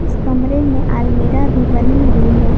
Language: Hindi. इस कमरे में अलमीरा भी बनी हुई है।